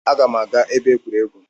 Aga m aga ebe egwuregwu